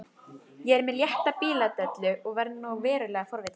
Ég er með létta bíladellu og verð nú verulega forvitin.